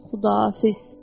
Xudahafiz.